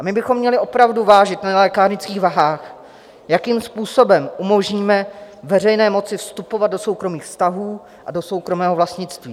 A my bychom měli opravdu vážit na lékárnických vahách, jakým způsobem umožníme veřejné moci vstupovat do soukromých vztahů a do soukromého vlastnictví.